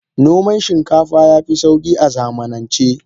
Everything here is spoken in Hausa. Norman shinkafa yafi Sauki a zamanance.